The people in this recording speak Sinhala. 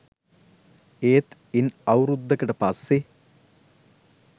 ඒත් ඉන් අවුරුද්දකට පස්සෙ